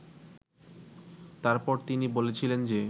তারপর তিনি বলেছিলেন যে